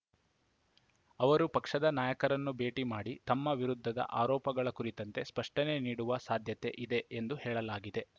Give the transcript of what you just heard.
ಅವರು ಪಕ್ಷದ ನಾಯಕರನ್ನು ಭೇಟಿ ಮಾಡಿ ತಮ್ಮ ವಿರುದ್ಧದ ಆರೋಪಗಳ ಕುರಿತಂತೆ ಸ್ಪಷ್ಟನೆ ನೀಡುವ ಸಾಧ್ಯತೆ ಇದೆ ಎಂದು ಹೇಳಲಾಗಿದೆ